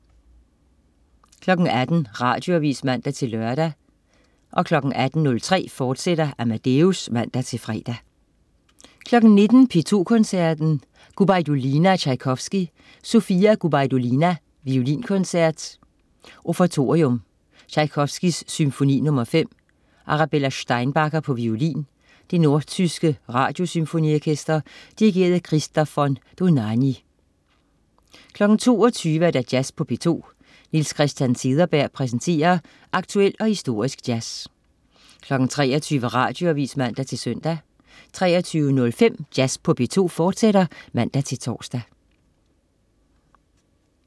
18.00 Radioavis (man-lør) 18.03 Amadeus, fortsat (man-fre) 19.00 P2 Koncerten. Gubajdulina og Tjajkovskij. Sofia Gubajdulina: Violinkoncert, Offertorium. Tjajkovskij: Symfoni nr. 5. Arabella Steinbacher, violin. Det nordtyske Radiosymfoniorkester. Dirigent: Christoph von Dohnányi 22.00 Jazz på P2. Niels Christian Cederberg præsenterer aktuel og historisk jazz 23.00 Radioavis (man-søn) 23.05 Jazz på P2, fortsat (man-tors)